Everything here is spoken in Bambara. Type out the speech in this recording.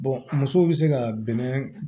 musow be se ka bɛnɛ